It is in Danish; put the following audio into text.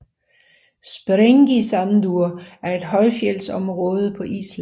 Sprengisandur er et højfjeldsområde på Island